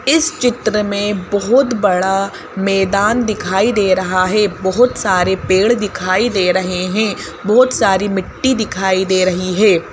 इस चित्र में बहुत बड़ा मैदान दिखाई दे रहा है बहुत सारे पेड़ दिखाई दे रहे हैं बहुत सारी मिट्टी दिखाई दे रही है।